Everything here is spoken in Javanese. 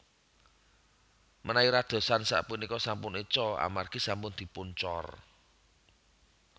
Menawi radosan sapunika sampun eco amargi sampun dipun cor